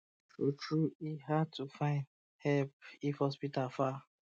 true true e um hard to find help if hospital far